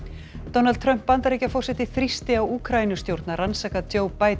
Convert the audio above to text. Donald Trump Bandaríkjaforseti þrýsti á Úkraínustjórn að rannsaka